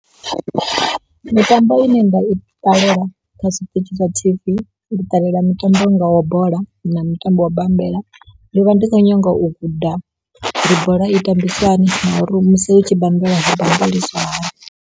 Mitambo ine nda i ṱalela kha zwitshitshi zwa T_V, ndi ṱalela mitambo i ngaho bola na mutambo wa bammbela. Ndi vha ndi khou nyaga u guda uri bola i tambiswa hani na uri musi hu tshi bammbelwa, hu bammbeliswa hani.